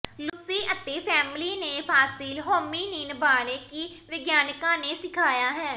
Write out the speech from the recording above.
Lucy ਅਤੇ family ਨੇ fossil hominin ਬਾਰੇ ਕੀ ਵਿਗਿਆਨਕਾਂ ਨੇ ਸਿਖਾਇਆ ਹੈ